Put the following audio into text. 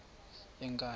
yenkandla